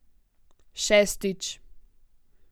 Šestič.